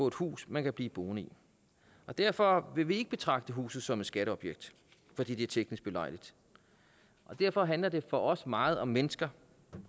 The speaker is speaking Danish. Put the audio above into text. et hus man kan blive boende i derfor vil vi ikke betragte huset som et skatteobjekt fordi det er teknisk belejligt derfor handler det for os meget om mennesker